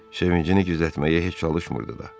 Sevincini gizlətməyə heç çalışmırdı da.